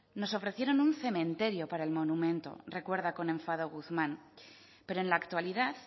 nos ofrecieron un cementerio para el monumento recuerda con enfado guzmán pero en la actualidad